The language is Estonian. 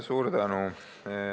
Suur tänu!